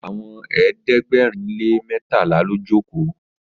Àwọn ẹ̀ẹ́dẹ̀gbẹ̀rin lè mẹtala ló joko.